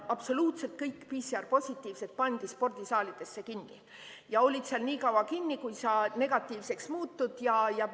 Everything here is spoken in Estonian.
Absoluutselt kõik PCR-positiivsed pandi spordisaalidesse kinni ja olid seal nii kaua kinni, kuni negatiivseks muutusid.